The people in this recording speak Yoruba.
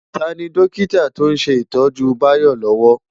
Táni Dòkitá tó n sé itòjú Bayo lòwò?